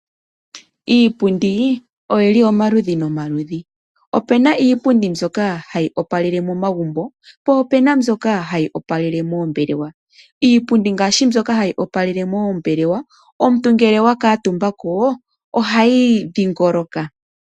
Iipundi oyili omaludhi nomaludhi. Opu na iipundi mbyoka hayi opalele momagumbo, po pu na mbyoka hayi opalele moombelewa. Iipundi ngaashi mbyoka hayi opalele moombelewa, omuntu ngele wa kaatumba ko ohayi dhingoloka.